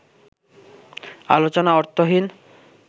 আলোচনা অর্থহীন